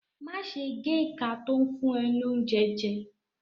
Má ṣe géka tó ń fún ẹ ní oúnjẹ jẹ.